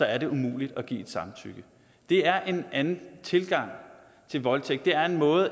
er det umuligt at give et samtykke det er en anden tilgang til voldtægt det er en måde